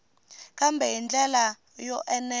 kambe hi ndlela yo enela